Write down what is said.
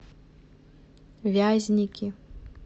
вязники